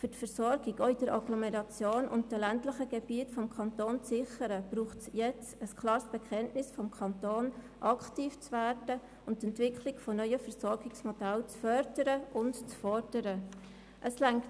Um die Versorgung auch in der Agglomeration und in den ländlichen Gebieten des Kantons zu sichern, braucht es jetzt ein klares Bekenntnis des Kantons dazu, die Entwicklung neuer Versorgungsmodelle fördern und fordern zu wollen.